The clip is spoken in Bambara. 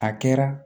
A kɛra